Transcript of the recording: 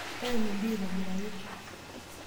Teena oldia aitobiraki.